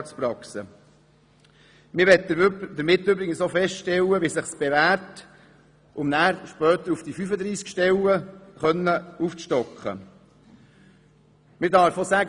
Damit möchte man übrigens auch feststellen, wie es sich bewährt, um später auf 35 Stellen aufstocken zu können.